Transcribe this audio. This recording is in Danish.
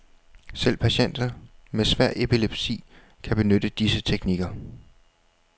Selv patienter med svær epilepsi kan benytte disse teknikker.